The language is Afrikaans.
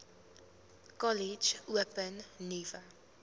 kollege open nuwe